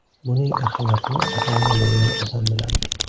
Buning ahamiyatini ota-ona bo‘lgan odam biladi.